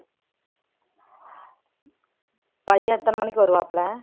பையன் எத்தனை மணிக்கு வருவாப்புல